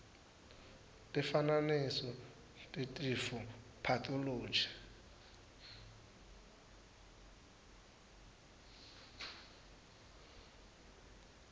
tifananiso tetifo pathology